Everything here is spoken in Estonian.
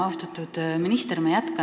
Austatud minister!